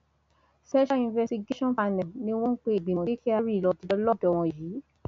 special investigation panel ni wọn ń pe ìgbìmọ tí kyari lọọ jẹjọ lọdọ wọn yìí